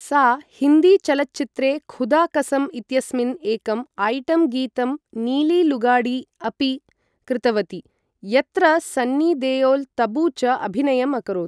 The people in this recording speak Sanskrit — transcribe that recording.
सा हिन्दी चलच्चित्रे खुदा कसम इत्यस्मिन् एकं आइटम् गीतम् नीली लुगाडी अपि कृतवती, यत्र सन्नी देओल, तबू च अभिनयम् अकरोत् ।